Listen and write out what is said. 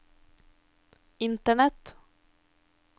internett